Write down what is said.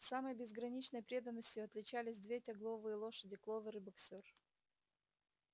самой безграничной преданностью отличались две тягловые лошади кловер и боксёр